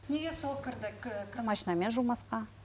неге сол кірді кір машинамен жумасқа